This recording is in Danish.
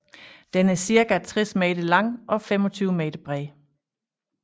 Den er cirka 60 meter lang og 25 meter bred